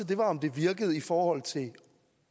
det var om det virkede i forhold til at